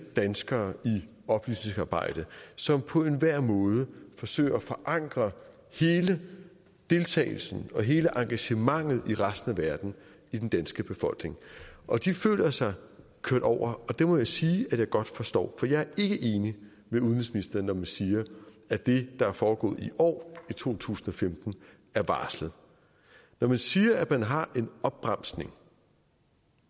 danskere i oplysningsarbejde som på enhver måde forsøger at forankre hele deltagelsen og hele engagementet i resten af verden i den danske befolkning og de føler sig kørt over og det må jeg sige at jeg godt forstår for jeg er ikke enig med udenrigsministeren når man siger at det der er foregået i år i to tusind og femten er varslet når man siger at man har en opbremsning